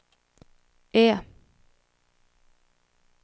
E